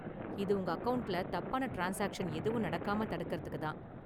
இது உங்க அக்கவுண்ட்ல தப்பான ட்ரான்ஸ்சாக்சன் எதுவும் நடக்காம தடுக்கறதுக்கு தான்.